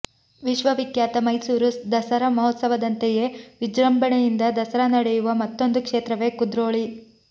ವಿಶ್ವವಿಖ್ಯಾತ ಮೈಸೂರು ದಸರಾ ಮಹೋತ್ಸವದಂತೆಯೇ ವಿಜೃಂಭಣೆಯಿಂದ ದಸರಾ ನಡೆಯುವ ಮತ್ತೊಂದು ಕ್ಷೇತ್ರವೆ ಕುದ್ರೋಳಿ